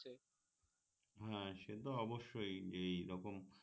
হ্যাঁ সে তো অবশ্যই এই রকম